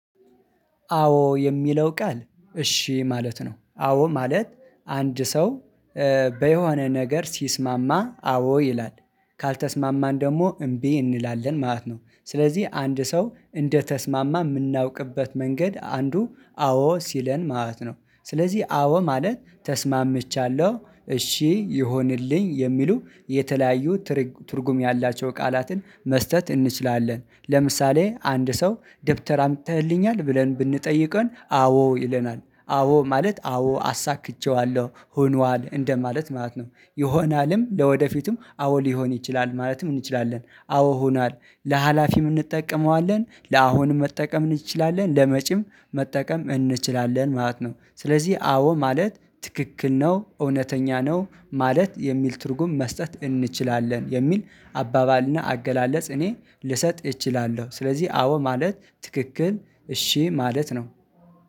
አዎ የሚለው ቃል እሺ ማለት ነው። አዎ ማለት አንድ ሰው በየሆነ ነገር ሲስማማ አዎ ይላል ካልተስማማን ደግሞ እምቢ እንላለን ማለት ነው። ስለዚህ አንድ ሰው እንደተስማማ የምናውቅበት መንገድ አንዱ አዎ ሲለን ማለት ነው። ስለዚህ አዎ ማለት ተስማምቻለሁ እሺ ይሆንልኝ የሚሉ የተለያዩ ትርጉም ያላቸው ቃላትን መስጠት እንችላለን። ለምሳሌ አንድ ሰው ደብተር አምጥተህልኛል ብለን ብንጠይቀው አዎ ይለናል አዎ ማለት አዎ አሳክቼዋለሁ ሆኗል እንደ ማለት ማለት ነው። ይሆናልም ለወደፊቱም አዎ ሊሆን ይችላል ማለትም እንችላለን አዎ ሆናል ለሀላፊም እንጠቀመዋለን ለአሁንም መጠቀም እንችላለን ለመጪም መጠቀም እንችላለን ማለት ነው። ስለዚህ አዎ ማለት ትክክል ነው እውነተኛ ነው ማለት የሚል ትርጉም መስጠት እንችላለን የሚል አባባልና አገላለጽ እኔ ልሰጥ እችላለሁ። ስለዚህ አዎ ማለት ትክክል እሺ ማለት ነው።